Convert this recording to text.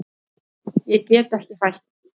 Ég get ekki hætt.